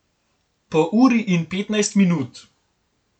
Po uri in petnajst minut.